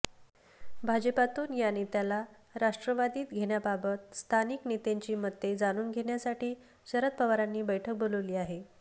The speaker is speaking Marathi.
भाजपातून या नेत्याला राष्ट्रवादीत घेण्याबाबत स्थानिक नेत्यांची मते जाणून घेण्यासाठी शरद पवारांनी बैठक बोलावली आहे